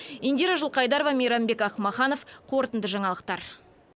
индира жылқайдарова мейрамбек ақмаханов қорытынды жаңалықтар